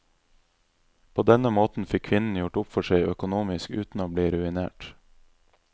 På denne måten fikk kvinnen gjort opp for seg økonomisk uten å bli ruinert.